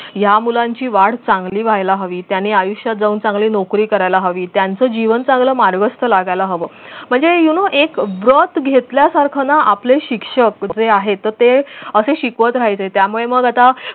या मुलांची वाढ चांगली व्हायला हवी त्यांनी आयुष्यात जाऊन चांगली नोकरी करायला हवी त्यांचं जीवन चांगलं मार्गस्त लागायला हव म्हणजे u know एक birth घेतल्यासारखा ना आपले शिक्षक जे आहे तर ते असे शिकवत राहायचे त्यामुळे मग आता